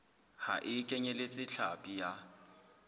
ha e kenyeletse hlapi ya